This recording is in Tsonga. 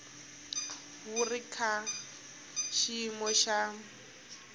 wu ri ka xiyimo xa